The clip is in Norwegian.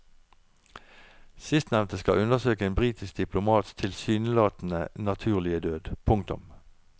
Sistnevnte skal undersøke en britisk diplomats tilsynelatende naturlige død. punktum